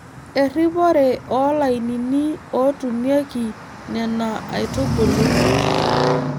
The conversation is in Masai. Erripore oo lainnini ootunieki Nena aitubulu.